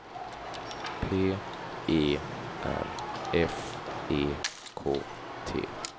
P E R F E K T